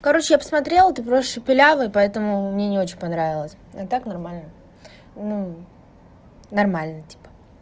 короче я посмотрела ты просто шепелявый поэтому мне не очень понравилось а так нормально ну нормально типа